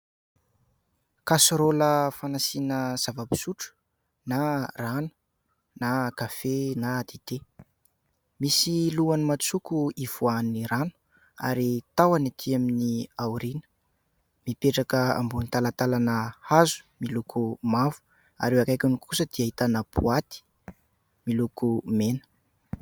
Kaserôlina fanasiana zava-pisotro : na rano, na kafe, na dité. Misy lohany matsoko ivoahan'ny rano ary ny tahony etỳ amin'ny aoriana. Mipetraka amboniny talantalana hazo miloko mavo ary eo akaikiny kosa dia ahitana boaty miloko mena.